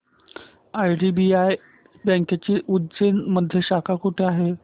IDBI बँकेची उज्जैन मध्ये शाखा कुठे आहे